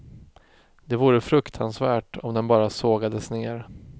Det vore fruktansvärt om den bara sågades ner.